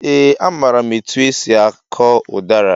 Ee a maara m etụ esị akọ udara